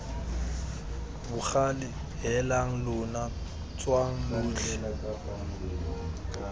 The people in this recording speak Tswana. bogale heelang lona tswang lotlhe